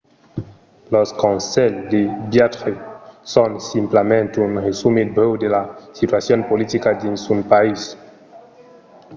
los conselhs de viatge son simplament un resumit brèu de la situacion politica dins un país